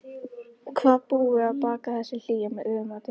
Hvað búi að baki þessu hlýja viðmóti.